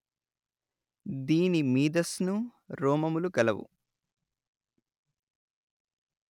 దీని మీదస్ను రోమములు గలవు